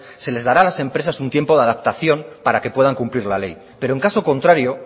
se les dará a las empresas un tiempo de adaptación para que puedan cumplir la ley pero en caso contrario